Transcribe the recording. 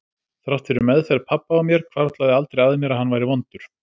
Þrátt fyrir meðferð pabba á mér hvarflaði aldrei að mér að hann væri vondur.